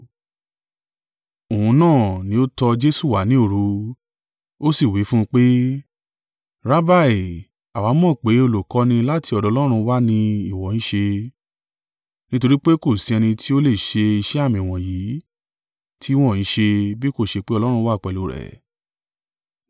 Òun náà ní ó tọ Jesu wá ní òru, ó sì wí fún un pé, Rabbi, àwa mọ̀ pé olùkọ́ni láti ọ̀dọ̀ Ọlọ́run wá ni ìwọ ń ṣe, nítorí pé kò sí ẹni tí ó lè ṣe iṣẹ́ àmì wọ̀nyí tí ìwọ ń ṣe, bí kò ṣe pé Ọlọ́run wà pẹ̀lú rẹ̀.